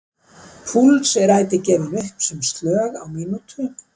Púls er ætíð gefinn upp sem slög á mínútu.